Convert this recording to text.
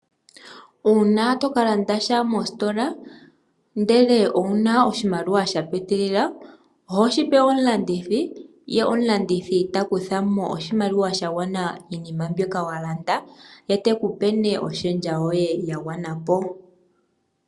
Uuna tokalanda sha mositola ndele owuna oshimaliwa shapitilila oho shipe omulandithi ye omulandithi takuthamo oshimaliwa shagwana miinima mbyoka walanda ye tekupe nee oshendja yoye yagwanapo.